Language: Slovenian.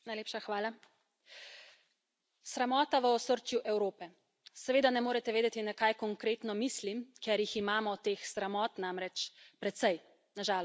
Gospod predsednik, sramota v osrčju Evrope. Seveda ne morete vedeti, na kaj konkretno mislim, ker jih imamo, teh sramot namreč, precej, na žalost.